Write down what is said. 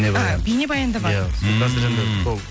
а бейнебаян да бар иә ммм